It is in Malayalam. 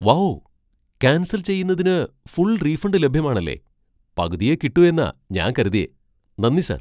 വൗ! ക്യാൻസൽ ചെയ്യുന്നതിന് ഫുൾ റീഫണ്ട് ലഭ്യമാണല്ലേ, പകുതിയേ കിട്ടു എന്നാ ഞാൻ കരുതിയേ. നന്ദി സാർ